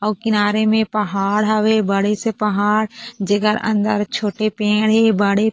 अउ किनारे में पहाड़ हवे बड़े से पहाड़ जेकर अंदर छोटे पेड़ हे बड़े --